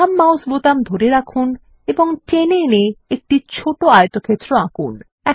বাম মাউস বোতাম ধরে রাখুন এবং টেনে এনে একটি ছোট আয়তক্ষেত্র আঁকুন